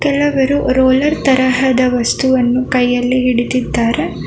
ಕೆಲವರು ರೋಲರ್ ತರಹದ ವಸ್ತುವನ್ನು ಕೈಯಲ್ಲಿ ಹಿಡಿದಿದ್ದಾರೆ.